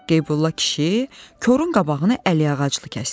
Qeybulla kişi korun qabağını əliağızlı kəsdi.